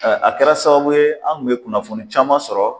A kɛra sababu ye an kun mɛ kunnafoni caman sɔrɔ